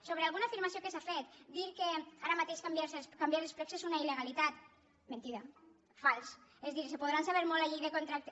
sobre alguna afirmació que s’ha fet dir que ara mateix canviar els plecs és una il·legalitat mentida fals és a dir es podran saber molt la llei de contractes